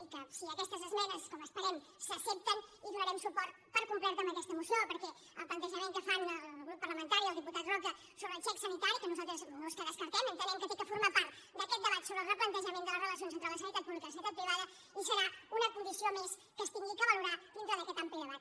i si aquestes esmenes com esperem s’accepten donarem suport per complet a aquesta moció perquè el plantejament que fan el grup parlamentari el diputat roca sobre el xec sanitari que nosaltres no és que el descartem entenem que ha de formar part d’aquest debat sobre el replantejament de les relacions entre la sanitat pública i la sanitat privada i serà una condició més que s’haurà de valorar dintre d’aquest ampli debat